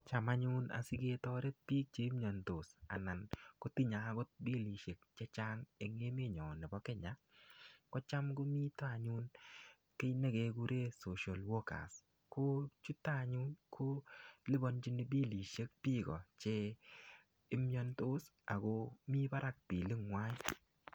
Cham anyun siketoret bik chemiondos ana kotinye bilishek chechang en emenyon nebo Kenya kocham komiten anyun kii nekekuren social worker ko chuton anyun kiliponchin bilishek Niko imiondos ako mii barak bilinywan.